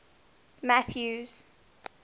mathews